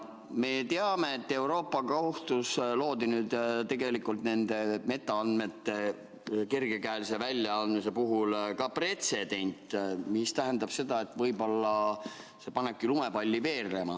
Me teame, et Euroopa Liidu Kohtus loodi nende metaandmete kergekäelise väljaandmise puhul ka pretsedent, mis tähendab seda, et võib-olla see panebki lumepalli veerema.